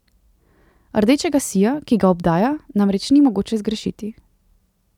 Rdečega sija, ki ga obdaja, namreč ni mogoče zgrešiti.